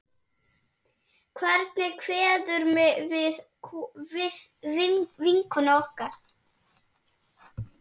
Hvernig kveðjum við vinkonu okkar?